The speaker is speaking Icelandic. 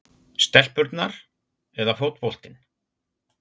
stelpurnar eða fótboltinn?